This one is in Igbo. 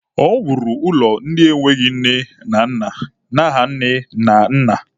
O wuru ụlọ ndị enweghị nne na nna n'aha nne na nna.